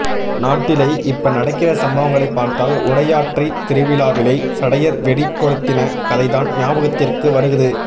நாட்டிலை இப்ப நடக்கிற சம்பவங்களை பார்த்தால் உடையாற்றை திருவிழாவிலை சடையர் வெடி கொழுத்தின கதைதான் ஞாபகத்திற்கு வருகுது